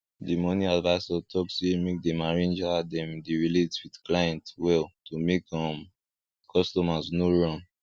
di money advisor talk say make dem arrange how dem dey relate with client well to make um customers no run